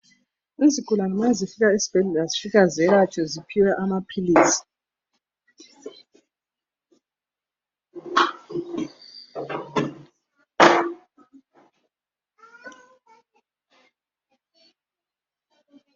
Izigulane mazifika esibhedlela zifika zelatshwe ziphiwe amaphilisi.